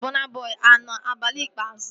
Gị na Bọna Bọi anọ abalị ikpeazụ?